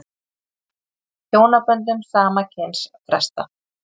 Hjónaböndum sama kyns frestað